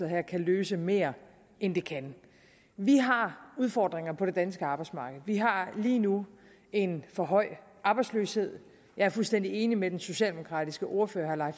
her kan løse mere end det kan vi har udfordringer på det danske arbejdsmarked vi har lige nu en for høj arbejdsløshed jeg er fuldstændig enig med den socialdemokratiske ordfører herre